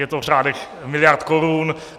Je to v řádech miliard korun.